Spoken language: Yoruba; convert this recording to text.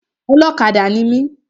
Ọlọ́kadà ni mi.